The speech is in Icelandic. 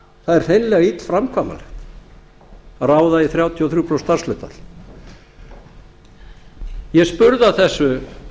það er hreinlega illframkvæmanlegt að ráða í þrjátíu og þrjú prósent starfshlutfall ég spurði að þessu